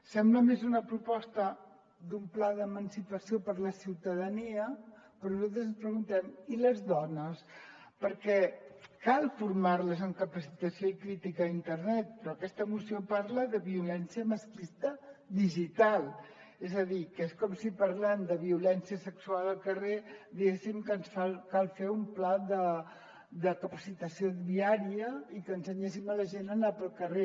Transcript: sembla més una proposta d’un pla d’emancipació per a la ciutadania però nosaltres ens preguntem i les dones perquè cal formar les amb capacitació i crítica a internet però aquesta moció parla de violència masclista digital és a dir que és com si parlant de violència sexual al carrer diguéssim que ens cal fer un pla de capacitació viària i que ensenyéssim la gent a anar pel carrer